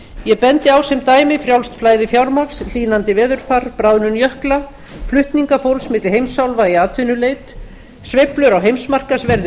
ég bendi á sem dæmi frjálst flæði fjármagns hlýnandi veðurfar bráðnun jökla flutninga fólks milli heimsálfa í atvinnuleit sveiflur á heimsmarkaðsverði